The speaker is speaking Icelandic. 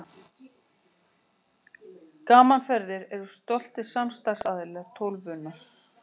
Gaman Ferðir eru stoltir samstarfsaðilar Tólfunnar.